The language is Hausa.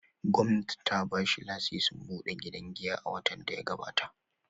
Gwamnati ta ba shi lasisin buɗe gidan giya a watan da ya gabata.